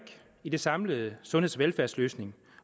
i den samlede sundheds og velfærdsløsning